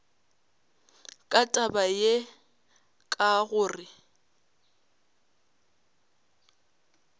ka taba ye ka gore